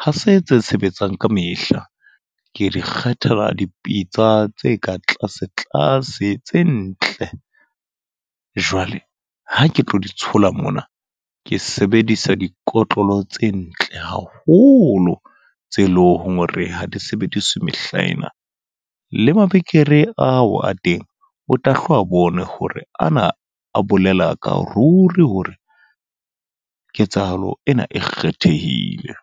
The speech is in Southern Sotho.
ha se tse sebetsang kamehla. Ke di kgethela dipitsa tse ka tlase tlase tse ntle. Jwale ha ke tlo di tshola mona, ke sebedisa dikotlolo tse ntle haholo. Tse leng hore ha di sebediswe mehlaena. Le mabekere ao a teng o tla hle o a bone hore ana a bolela ka ruri hore ketsahalo ena e kgethehile.